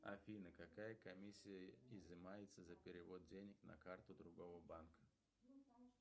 афина какая комиссия изымается за перевод денег на карту другого банка